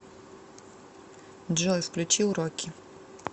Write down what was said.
джой включи уроки